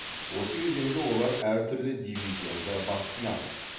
осы кезеңде олар әртүрлі дивизионда бақ сынады